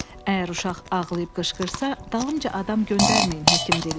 "Əgər uşaq ağlayıb qışqırsa, dalımca adam göndərməyin," həkim dilləndi.